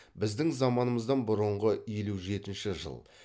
біздің заманымыздан бұрынғы елу жетінші жыл